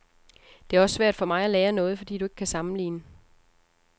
Det er også svært for mig at lære noget, fordi du ikke kan sammenligne.